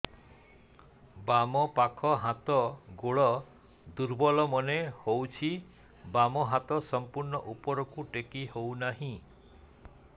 ବାମ ପାଖ ହାତ ଗୋଡ ଦୁର୍ବଳ ମନେ ହଉଛି ବାମ ହାତ ସମ୍ପୂର୍ଣ ଉପରକୁ ଟେକି ହଉ ନାହିଁ